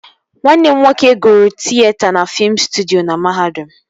Nwanne m nwoke gụrụ tịyeta na fiim stọdis na mahadum